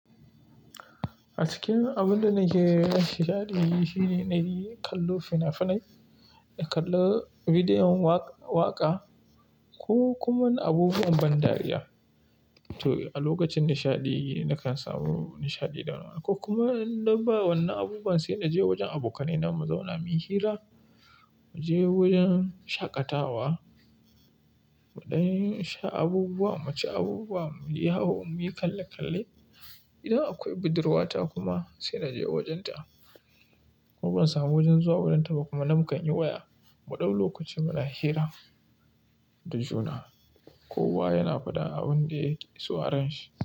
A cikin abun da nake nishaɗi shine nayi kallo fina-finai, in kalli bidiyon waƙa ko kuma abubuwan ban dariya. To a lokacin nishaɗi nakan samu nishaɗi da wannan. Ko kuma in ba wannan abubuwan sai naje wajen abokanai na mu zauna muyi hira, mu je wajen shaƙatawa, muɗan sha abubuwa, mu ci abubuwa, mu yi yawo, mu yi kalle kalle. Idan akwai budurwata kuma sai naje wajenta. Ko ban samu wajen zuwa wurinta ba kuma, nan muka yi waya muɗau lokaci muna hira da juna. Kowa yana faɗan abin da yake so a ranshi.